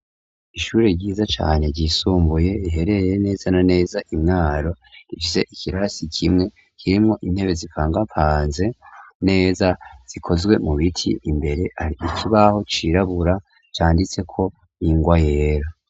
Ishuri ryiza cane ryisumbuye riherereye neza na neza i Mwaro. Rifise ikirasi kimwe kirimwo intebe zipangapanze neza, zikozwe mu biti. Imbere har'ikibaho cirabura canditseko ingwa yera.